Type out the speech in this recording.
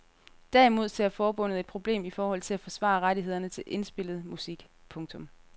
Derimod ser forbundet et problem i forhold til at forsvare rettighederne til indspillet musik. punktum